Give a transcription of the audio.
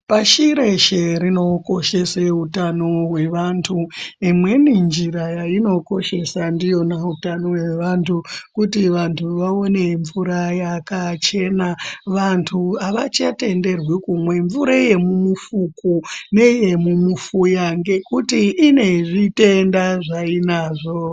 Pashi reshe rinokoshesa utano hwevantu, imweni njira yayinokoshesa ndiyona utano hwevantu, kuti vantu vawone mvura yakachena, vantu avachatenderwi kumwa mvura yemumufuku, neyemumufuya ngekuti inezvitenda zvayinazvo.